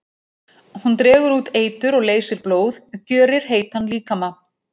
Hún dregur út eitur og leysir blóð, gjörir heitan líkama.